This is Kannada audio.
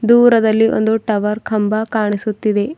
ದೂರದಲ್ಲಿ ಒಂದು ಟವರ್ ಕಂಬ ಕಾಣಿಸುತ್ತಿದೆ.